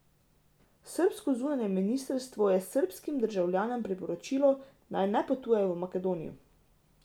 Srbsko zunanje ministrstvo je srbskim državljanom priporočilo, naj ne potujejo v Makedonijo.